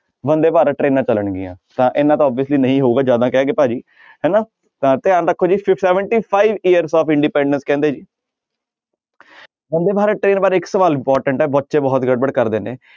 ਬੰਦੇ ਭਾਰਤ ਟਰੇਨਾਂ ਚੱਲਣਗੀਆਂ ਤਾਂ ਇੰਨਾ ਤਾਂ obviously ਨਹੀਂ ਹੋਊਗਾ ਜ਼ਿਆਦਾ ਕਹਿ ਗਏ ਭਾਜੀ ਹਨਾ ਤਾਂਂ ਧਿਆਨ ਰੱਖੋ ਜੀ ਸ~ seventy five years of independence ਕਹਿੰਦੇ ਬੰਦੇ ਭਾਰਤ train ਬਾਰੇ ਇੱਕ ਸਵਾਲ important ਹੈ ਬੱਚੇ ਬਹੁਤ ਗੜਬੜ ਕਰਦੇ ਨੇ,